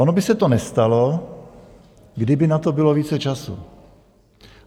Ono by se to nestalo, kdyby na to bylo více času.